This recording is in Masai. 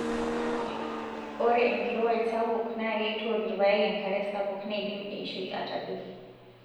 Ore enkirowuaj sapuk naa keitook irpaek enkare sapuk neidim eishioi atadoi.